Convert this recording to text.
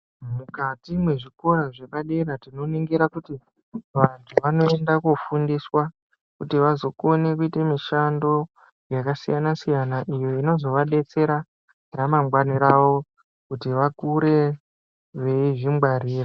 Mukati mwezvikora zvepadera tinoningira kuti vantu vanoenda kofundiswa kuti vazokone kuita mushando yakasiyana siyana iyo inozovadetsera ramangwani ravo kuti vakure veizvingwarira.